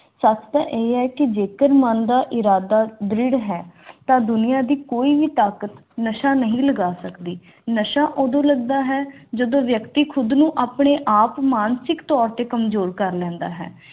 ਸੁੱਚ ਇਹ ਕਿ ਜੇਕਰ ਮਨ ਦਾ ਇਰਾਦਾ ਦ੍ਰਿੜ ਹੈ ਦੁਨੀਆਂ ਦੀ ਕੋਈ ਵੀ ਤਾਕਤ ਨਹੀਂ ਲਗਾ ਸਕਦੀ ਨਸ਼ਾ ਉਦੋਂ ਲੱਗਦਾ ਹੈ ਜਦੋਂ ਵਿਅਕਤੀ ਖੁਦ ਨੂੰ ਆਪਣੇ ਆਪ ਮਾਨਸਿਕ ਤੋਰ ਤੇ ਕਮਜ਼ੋਰ ਕਰ ਲੈਂਦਾ ਹੈ